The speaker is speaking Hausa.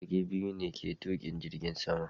Matukin jirgi biyu ke tukin jirgin sama